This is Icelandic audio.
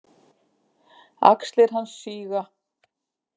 Axlir hans síga.